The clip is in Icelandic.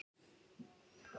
Þetta lýsir Grétari vel.